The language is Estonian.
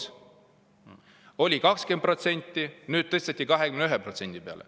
See oli 20%, nüüd tõsteti 21% peale.